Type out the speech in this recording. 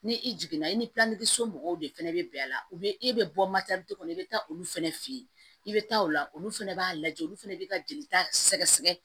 Ni i jiginna i ni somɔgɔw de fɛnɛ be bɛn a la u be e be bɔ kɔnɔ i be taa olu fɛnɛ fe yen i be taa o la olu fɛnɛ b'a lajɛ olu fɛnɛ bi ka jelita sɛgɛsɛgɛ